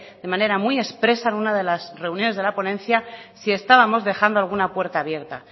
de manera muy expresa en una de las reuniones de la ponencia si estábamos dejando alguna puerta abierta